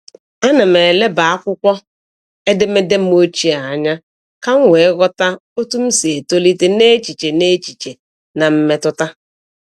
Ana m eleba akwụkwọ edemede m ochie anya ka m wee ghọta otú m si etolite n’echiche n’echiche na mmetụta.